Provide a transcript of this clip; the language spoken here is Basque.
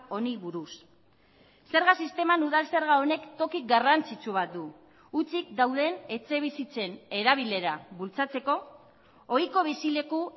honi buruz zerga sisteman udal zerga honek toki garrantzitsu bat du hutsik dauden etxebizitzen erabilera bultzatzeko ohiko bizileku